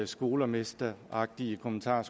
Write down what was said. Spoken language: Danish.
skolemesteragtige kommentar